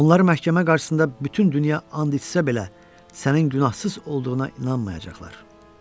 Onları məhkəmə qarşısında da bütün dünya and içsə belə sənin günahsız olduğuna inanmayacaqlar.